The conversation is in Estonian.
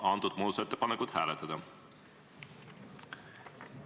Palun seda muudatusettepanekut hääletada!